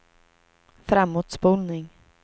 framåtspolning